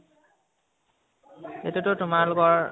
এতিয়াটো তোমালোকৰ